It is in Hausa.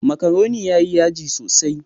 Makaroni yayi yaji sosai.